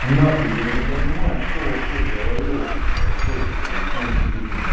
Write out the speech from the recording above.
на хуй я не понимаю что вообще в голове у вас там происходит этой весной действительно